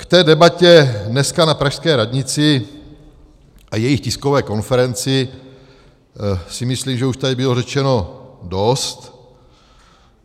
K té debatě dneska na pražské radnici a jejich tiskové konferenci si myslím, že už tady bylo řečeno dost.